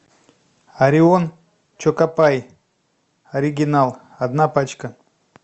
орион чокопай оригинал одна пачка